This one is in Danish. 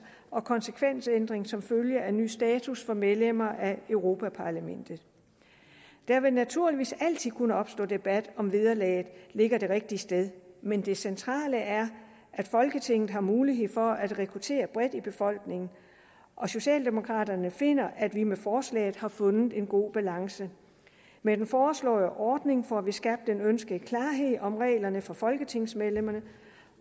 og konsekvensændring som følge af ny status for medlemmer af europa parlamentet der vil naturligvis altid kunne opstå debat om hvorvidt vederlaget ligger det rigtige sted men det centrale er at folketinget har mulighed for at rekruttere bredt i befolkningen socialdemokraterne finder at vi med forslaget har fundet en god balance med den foreslåede ordning får vi skabt den ønskede klarhed om reglerne for folketingsmedlemmerne